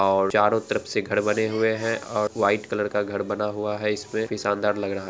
और चारों तरफ से घर बने हुए हैं और व्हाइट कलर का घर बना हुआ है इस पर काफी शानदार लग रहा है।